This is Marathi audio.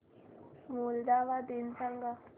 मोल्दोवा दिन सांगा